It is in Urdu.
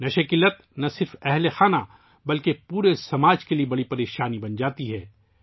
نشے کی لت نہ صرف خاندان بلکہ پورے معاشرے کے لیے ایک بڑا مسئلہ بن جاتی ہے